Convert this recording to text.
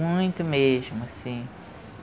Muito mesmo, assim.